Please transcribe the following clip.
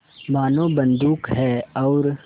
मानो बंदूक है और